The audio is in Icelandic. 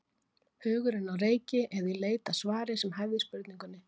Hugurinn á reiki eða í leit að svari sem hæfði spurningunni.